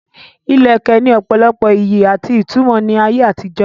Ìlẹ̀kẹ̀ ní ọ̀pọ̀lọpọ̀ ìyí àti ìtumọ̀ ní ayé àtijó.